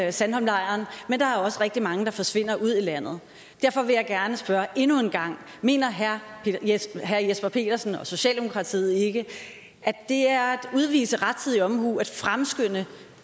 i sandholmlejren men der er også rigtig mange der forsvinder ud i landet derfor vil jeg gerne spørge endnu en gang mener herre jesper jesper petersen og socialdemokratiet ikke at det er at udvise rettidig omhu at fremskynde